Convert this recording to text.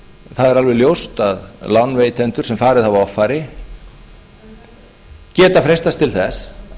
það er alveg ljóst að lánveitendur sem farið hafa offari geta freistast til þess